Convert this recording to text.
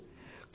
బలే